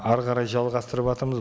әрі қарай жалғастырыватырмыз